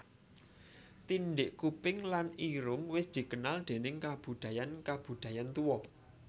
Tindhik kuping lan irung wis dikenal déning kabudayan kabudayan tuwa